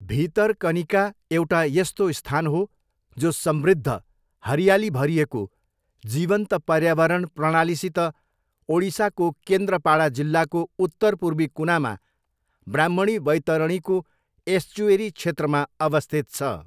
भितरकनिका एउटा यस्तो स्थान हो जो समृद्ध, हरियाली भरिएको, जीवन्त पर्यावरण प्रणालीसित ओडिसाको केन्द्रपाडा जिल्लाको उत्तरपूर्वी कुनामा ब्राह्मणी बैतरणीको एस्चुएरी क्षेत्रमा अवस्थित छ।